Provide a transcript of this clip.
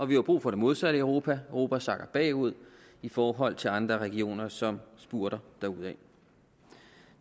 vi har brug for det modsatte i europa europa sakker bagud i forhold til andre regioner som spurter derudad